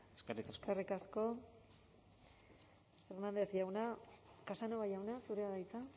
eskerrik asko eskerrik asko hernández jauna casanova jauna zurea da hitza